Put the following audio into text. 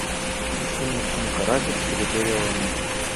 включи мне фильм каратель территория войны